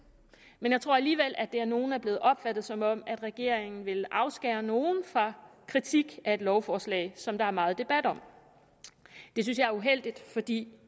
men jeg tror alligevel at det af nogle er blevet opfattet som om regeringen vil afskære nogle fra kritik af et lovforslag som der er meget debat om det synes jeg er uheldigt fordi